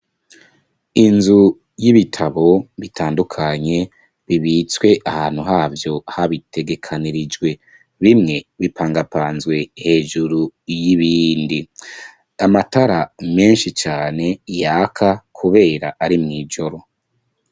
inzu y'ibitabo bitandukanye bibitswe ahantu havyo habitegekeranijwe , bimwe bipangapanzwe hejuru y'ibindi , amatara menshi cane yaka kubera ari mwijoro.